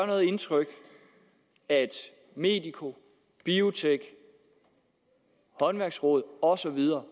noget indtryk at medico biotek håndværksrådet og så videre